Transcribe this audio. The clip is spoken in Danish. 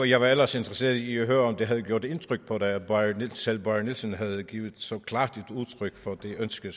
jeg var ellers interesseret i at høre om det havde gjort indtryk på dig at selv bárður nielsen havde givet så klart udtryk for det ønske